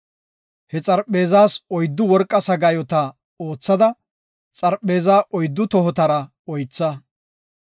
He xarpheezas oyddu worqa sagaayota oothada, xarpheezaa oyddu tohotara oytha.